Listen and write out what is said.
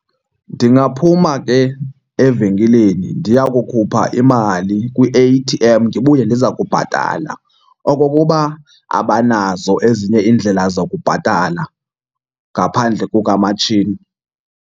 Ndingaphuma ke evenkileni ndiya kukhupha imali kwi-A_T_M ndibuye ndiza kubhatala, okokuba abanazo ezinye iindlela zakubhatala ngaphandle kukamatshini.